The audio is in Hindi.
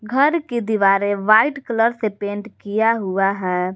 घर की दीवारें व्हाइट कलर से पेंट किया हुआ है।